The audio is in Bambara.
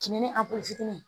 Kinin a fitini